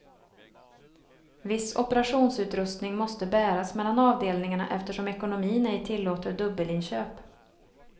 Viss operationsutrustning måste bäras mellan avdelningarna eftersom ekonomin ej tillåter dubbelinköp.